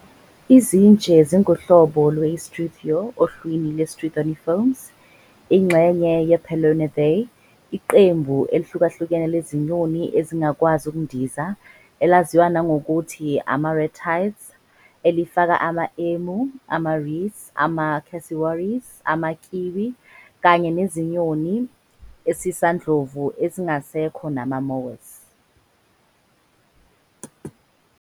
Izintshe zinguhlobo lwe-I-Struthio ohlwini lwe-Struthoniformes, ingxenye ye--Palaeognathae, iqembu elihlukahlukene lezinyoni ezingakwazi ukundiza elaziwa nangokuthi ama-ratites elifaka ama-emu, ama-rheas, ama-cassowaries, ama-kiwi kanye nezinyoni ezisandlovu ezingasekho nama-moas.